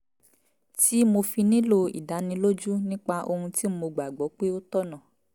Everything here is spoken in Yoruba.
tí mo fi nílò ìdánilójú nípa ohun tí mo gbà gbọ́ pé ó tọ̀nà